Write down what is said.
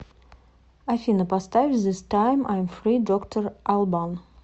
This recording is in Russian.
афина поставь зис тайм айм фри доктор албан